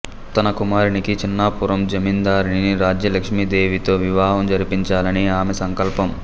తన కుమారునికి చిన్నాపురం జమీందారిణి రాజ్యలక్ష్మీదేవితో వివాహం జరిపించాలని ఆమె సంకల్పం